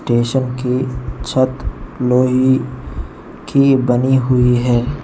Station की छत लोहे की बनी हुई है।